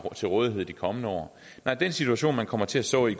til rådighed i de kommende år nej den situation man kommer til at stå i